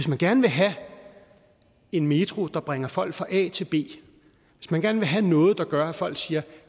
man gerne vil have en metro der bringer folk fra a til b hvis man gerne vil have noget der gør at folk siger